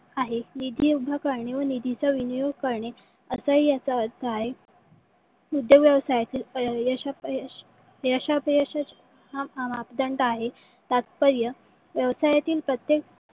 आहे. ही जी उभकरणी व निधीचा विनियोग करणे असाही याचा अर्थ आहे . शुद्ध व्यवसायातील अं यश अपयश यश अपयशाचे मापदंड आहे. तात्पर्य व्यवसायातील प्रत्येक